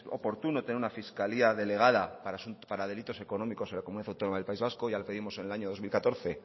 oportuno tener una fiscalía delegada para delitos económicos en la comunidad autónoma del país vasco ya lo pedimos en el año dos mil catorce